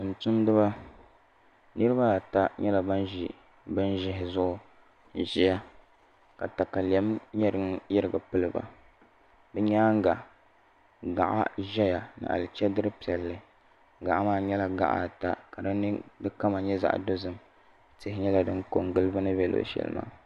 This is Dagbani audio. Tumtumdiba nirabaata nyɛla ban ʒi bin ʒihi zuɣu n ʒɛya ka katalɛm nyɛ din yirigi piliba bi nyaanga gaɣa ʒɛya gaɣa ni chɛdiri piɛlli gaɣa maa nyɛla gaɣa ata ka di kama nyɛ zaɣ dozim tihi nyɛla din ko n gili bi ni bɛ luɣu shɛli maa